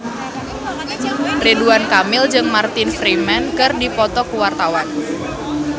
Ridwan Kamil jeung Martin Freeman keur dipoto ku wartawan